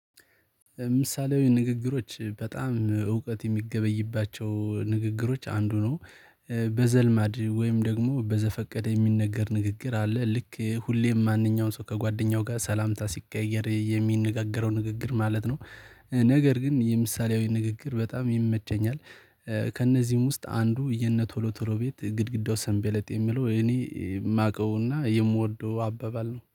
ምሳሌያዊ ንግግሮች በጣም እውቀት የሚገበይባቸው ንግግሮች አንዱ ነው። በዘልማድ ወይም ደግሞ በዘፈቀደ የሚነገር ንግግር አለ ልክ ሁሌም ማንኛውም ሰው ከጓደኛው ጋር ሰላምታ ሲቀያየር የሚነጋገረው ንግግር ማለት ነው። ነገር ግን የምሳሌያዊ ንግግር በጣም ይመቸኛል። ከእነዚህም ውስጥ አንዱ የነ ቶሎ ቶሎ ቤት ግድግዳው ሰንበሌጥ የሚለው እኔ የማውቀውና የምወደው አባባል ነው